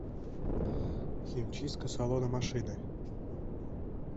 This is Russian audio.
химчистка салона машины